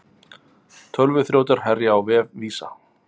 Tölvuþrjótar herja á vef Visa